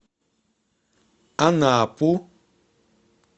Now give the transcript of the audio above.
анапу